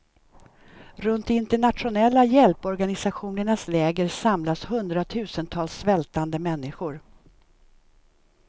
Runt de internationella hjälporganisationernas läger samlas hundratusentals svältande människor.